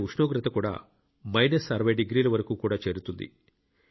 అక్కడ ఉష్ణోగ్రత కూడా మైనస్ 60 డిగ్రీల వరకు కూడా చేరుతుంది